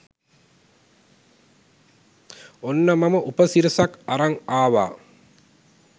ඔන්න මම උපසිරසක් අරන් ආවා